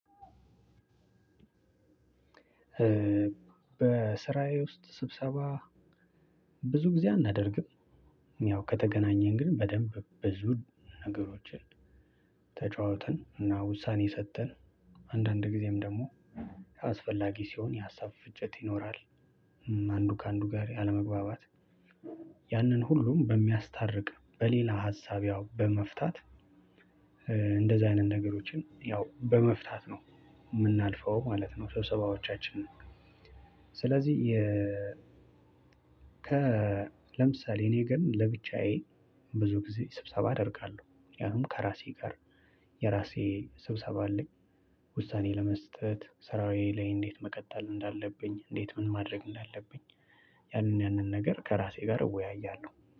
በስራዬ ውስጥ ስብሰባ ብዙ ጊዜ አናደርግም። ያው ከተገናኘን ግን በደንብ ብዙ ነገሮችን ተጨዋውተን እና ውሳኔ ሰጥተን አንዳንድ ጊዜም ደግሞ አስፈላጊ ሲሆን የሀሳብ ፍጨት ይኖራል። አንዱ ከአንዱ ጋር ያለመግባባት። ያንን ሁሉም በሚያስታርቅ በሌላ ሀሳብ ያው በመፍታት እንደዛ አይነት ነገሮችን ያው በመፍታት ነው የምናልፈው ማለት ነው። ስብሰባዎቻችን። ስለዚህ የ ከ ለምሳሌ እኔ ግን ለብቻዬ ብዙ ጊዜ ስብሰባ አደርጋለሁ። ያንም ከራሴ ጋር ስብሰባ አለኝ። ውሳኔ ለመስጠት ሰራየ ላይ እንዴት መቀጠል እንዳለብኝ እንዴት ምን ማድረግ እንዳለብኝ ያንን ያንን ነገር ከራሴ ጋር እወያያለሁ